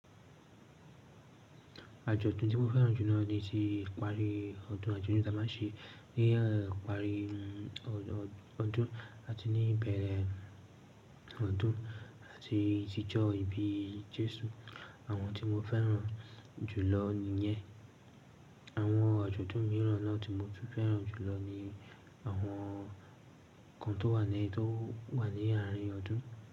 Àjọ̀dún tí mo fẹ́ràn jù lọ ni ti ìparí ọdún àti ọdún Támásí, ní ìparí ọdún àti ní ìbẹ̀rẹ̀ ọdún àti ìtìjọ́ ìbí Jésù. Àwọn tí mo fẹ́ràn jùlọ nìyẹn. Àwọn àjọ̀dún mìíràn náà tí mo tún fẹ́ràn jùlọ ni àwọn kan tó wà ní, tó wà ní àárín ọdún.